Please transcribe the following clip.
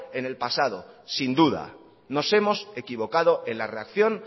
en el pasado sin duda nos hemos equivocado en la reacción